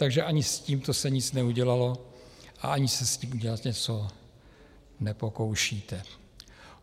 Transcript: Takže ani s tímto se nic neudělalo a ani se s tím udělat něco nepokoušíte.